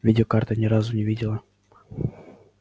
видеокарты ни разу не видела